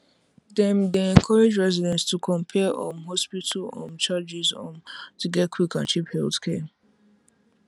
dem dey encourage residents to compare um hospital um charges um to get quick and cheap healthcare